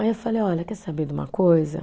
Aí eu falei, olha, quer saber de uma coisa?